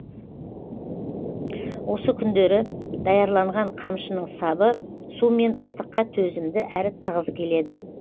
осы күндері даярланған қамшының сабы су мен ыстыққа төзімді әрі тығыз келеді